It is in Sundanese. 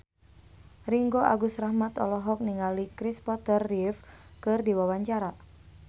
Ringgo Agus Rahman olohok ningali Kristopher Reeve keur diwawancara